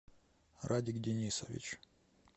радик денисович